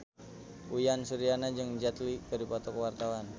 Uyan Suryana jeung Jet Li keur dipoto ku wartawan